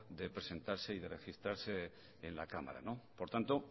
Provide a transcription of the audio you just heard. de presentarse y de registrarse en la cámara por tanto